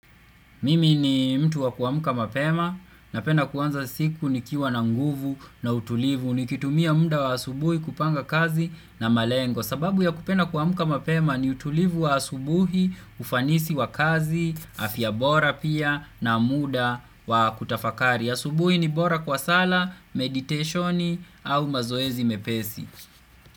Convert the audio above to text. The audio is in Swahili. Mimi ni mtu wa kuamuka mapema napenda kuanza siku nikiwa na nguvu na utulivu nikitumia muda wa asubuhi kupanga kazi na malengo. Sababu ya kupenda kuamuka mapema ni utulivu wa asubuhi, ufanisi wa kazi, afyabora pia na muda wa kutafakari. Asubuhi ni bora kwa sala, meditationi au mazoezi mepesi.